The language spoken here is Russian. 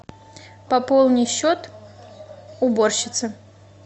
пополни счет уборщицы